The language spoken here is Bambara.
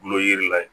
Kulo yiri la